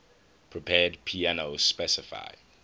prepared piano specify